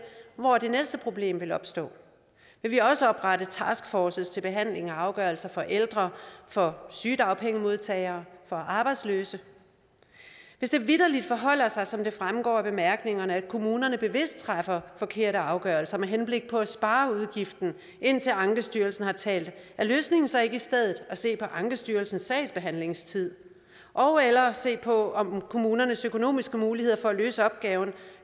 hvor det næste problem vil opstå vil vi også oprette taskforces til behandling af afgørelser for ældre for sygedagpengemodtagere for arbejdsløse hvis det vitterlig forholder sig som det fremgår af bemærkningerne at kommunerne bevidst træffer forkerte afgørelser med henblik på at spare udgiften indtil ankestyrelsen har talt er løsningen så ikke i stedet at se på ankestyrelsens sagsbehandlingstid ogeller at se på om kommunernes økonomiske muligheder for at løse opgaven